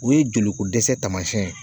O ye jolikodɛsɛ taamasiyɛn ye